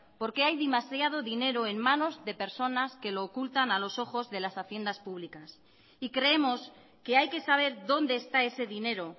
porque hay demasiado dinero en manos de personas que lo ocultan a los ojos de las haciendas públicas y creemos que hay que saber dónde está ese dinero